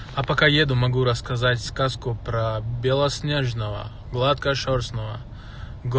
а пока еду могу рассказать сказку про белоснежного гладкошёрстного год